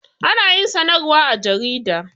Ana yin sanarwa a jarida